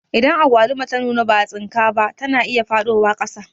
Idan agwaluma ta nuna ba'a tsinka ba, ta na iya faɗowa ƙasa